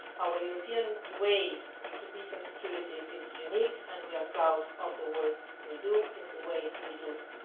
Our European way to peace and security is unique, and we are proud of the work we do and the way we do it.